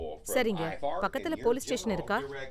சரிங்க, பக்கத்துல police station இருக்கா?